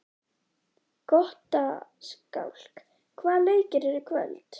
Gottskálk, hvaða leikir eru í kvöld?